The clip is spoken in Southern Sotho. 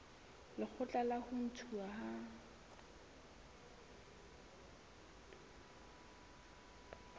lekgotla la ho ntshuwa ha